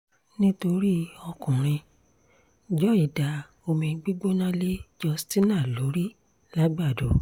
nítorí ọkùnrin joy da omi gbígbóná lé justina lórí làgbàdo